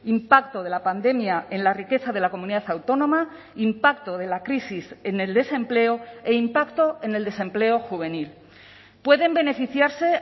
impacto de la pandemia en la riqueza de la comunidad autónoma impacto de la crisis en el desempleo e impacto en el desempleo juvenil pueden beneficiarse